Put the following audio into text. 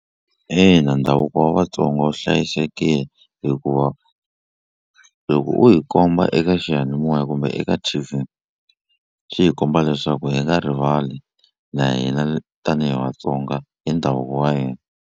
Ina ndhavuko wa Vatsonga wu hlayisekile hikuva loko u hi komba eka xiyanimoya kumbe eka T_V swi hi komba leswaku hi nga rivali na hina tanihi Vatsonga hi ndhavuko wa hina.